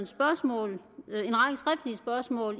spørgsmål